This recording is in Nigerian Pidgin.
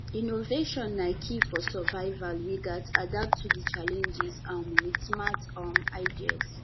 innovation na key for survival we gats adapt to challenges um with smart um ideas